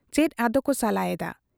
ᱪᱮᱫ ᱟᱫᱚᱠᱚ ᱥᱟᱞᱟ ᱮᱫᱟ ?